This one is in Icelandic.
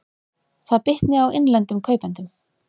Það bitni á innlendum kaupendum